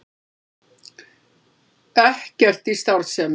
Ekkert í starfsemi